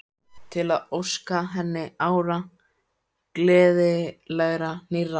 Til að óska henni ára, gleðilegra, nýrra.